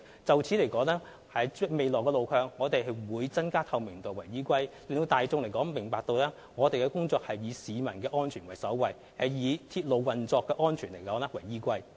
就未來路向，我們會以增加透明度為依歸，讓大眾明白，我們的工作是以市民的安全為首位，並以鐵路運作的安全為依歸。